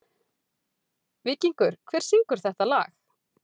Víkingur, hver syngur þetta lag?